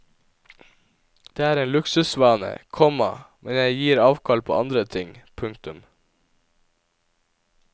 Det er en luksusvane, komma men jeg gir avkall på andre ting. punktum